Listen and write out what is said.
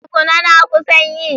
Tukuna, na kusan yi.